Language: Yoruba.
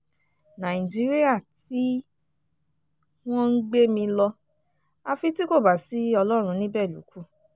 nàìjíríà tí wọ́n ń gbé mi lọ àfi tí kò bá sí ọlọ́run níbẹ̀ ló kù